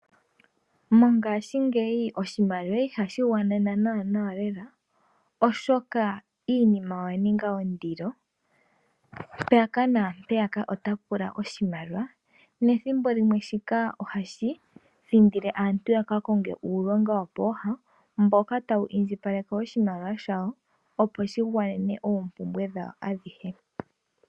Mongashingeyi oshimaliwa iha gwana naanawa, oshoka iinima oyina ondilo mpaka nampeyaka. Oto pula oshimaliwa nethimbo limwe shika ohashi thindile aantu yaka konge uulonga wo pooha mboka tawu indjiipaleke oshimaliwa shawo opo shigwanene oompumbwe dhawo adhihe.